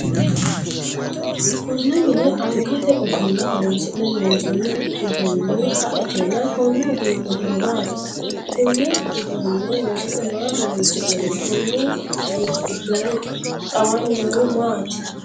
Konne mine angate ogimma horoonsi'ne loonsoonni uduunni baetenna konni uduunni horo maati? Kunne uduune loosate maa horoonsi'nonni? Konni minni gidoonni xawanni noohu maati?